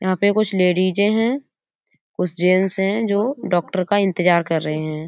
यहाँ पे कुछ लेडीजे हैं। कुछ जेन्ट्स हैं जो डॉक्टर का इंतज़ार कर रहे हैं।